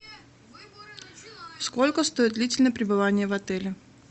сколько стоит длительное пребывание в отеле